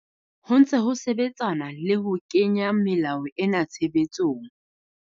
Ho ntse ho sebetsanwa le ho kenya melao ena tshebetsong.